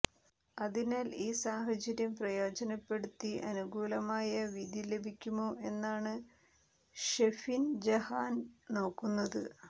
അതിനാൽ ഈ സാഹചര്യം പ്രയോജനപ്പെടുത്തി അനുകൂലമായ വിധി ലഭിക്കുമോ എന്നാണ് ഷെഫിൻ ജഹാൻ നോക്കുന്നത്